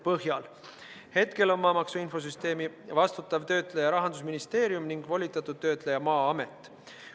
Praegu on maamaksu infosüsteemi vastutav töötleja Rahandusministeerium ning volitatud töötleja Maa-amet.